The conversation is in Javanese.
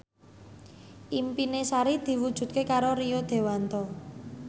impine Sari diwujudke karo Rio Dewanto